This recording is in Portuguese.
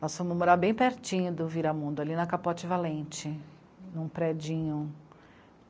Nós fomos morar bem pertinho do Viramundo, ali na Capote Valente, num predinho.